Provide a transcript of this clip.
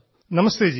നമസ്തേജി